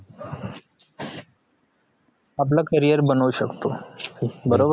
आपल career बनवु शकतो बरोबर